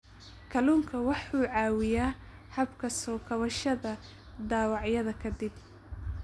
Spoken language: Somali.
Kalluunku wuxuu caawiyaa habka soo kabashada dhaawacyada ka dib.